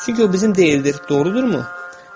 Çünki o bizim deyildir, doğrudurmu?